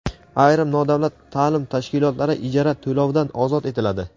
Ayrim nodavlat ta’lim tashkilotlari ijara to‘lovidan ozod etiladi.